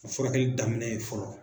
A furakɛli daminɛ ye fɔlɔ